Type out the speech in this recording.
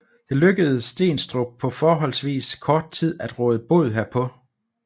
Det lykkedes Steenstrup på forholdsvis kort tid at råde bod herpå